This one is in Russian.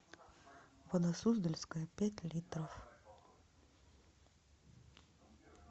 вода суздальская пять литров